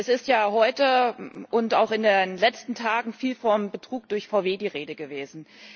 Es ist ja heute und auch in den letzten Tagen viel vom Betrug durch VW die Rede gewesen.